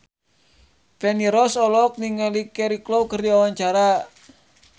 Feni Rose olohok ningali Cheryl Crow keur diwawancara